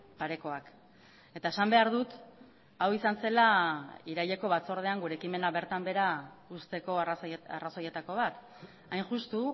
parekoak eta esan behar dut hau izan zela iraileko batzordean gure ekimena bertan behera uzteko arrazoietako bat hain justu